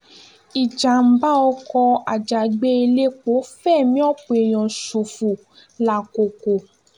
ìjàḿbà ọkọ̀ ajàgbé elépo fẹ̀mí ọ̀pọ̀ èèyàn ṣòfò làkkòkò